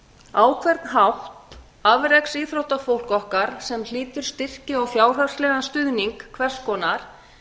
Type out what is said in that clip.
á hvern hátt afreksíþróttafólk okkar sem hlýtur styrki og fjárhagslegan stuðning hvers konar